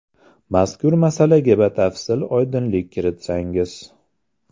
Mazkur masalaga batafsil oydinlik kiritsangiz?